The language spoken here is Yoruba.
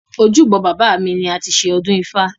Ojúbọ bàbá mi ni a ti ṣe ọdún ifá.